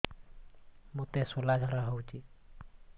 ମୋତେ ଶୂଳା ଝାଡ଼ା ହଉଚି